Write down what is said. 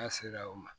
N'a sera o ma